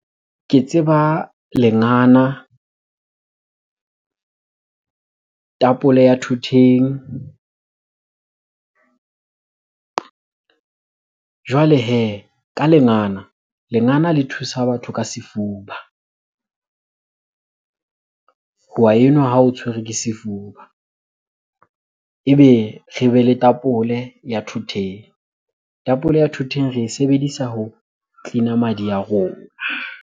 Ke tseba lengana, tapole ya thoteng. Jwale hee ka lengana, lengana le thusa batho ka sefuba. O wa enwa ha o tshwerwe ke sefuba. Ebe re be le tapole ya thoteng, tapole ya thoteng re e sebedisa ho cleaner madi ya rona.